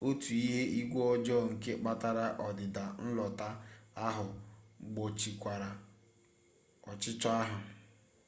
otu ihu igwe ọjọọ nke kpatara ọdịda nlotu ahụ gbochikwara ọchịchọ ahụ